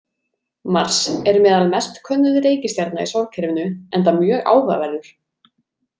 Mars er meðal mest könnuðu reikistjarna í sólkerfinu enda mjög áhugaverður.